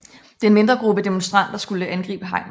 Den mindre gruppe demonstranter skulle angribe hegnet